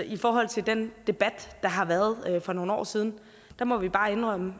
i forhold til den debat der har været for nogle år siden må vi bare indrømme